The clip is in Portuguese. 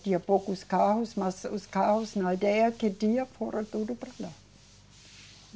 Tinha poucos carros, mas os carros, na ideia que tinha, foram tudo para lá.